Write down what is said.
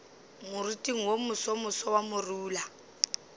moriting wo mosomoso wa morula